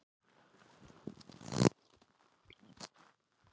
Við sáum ekki handa okkar skil.